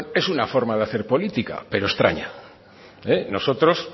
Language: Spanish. es una forma de hacer política pero extraña nosotros